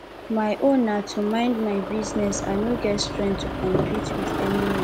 my own na to mind my business i no get strength to compete with anyone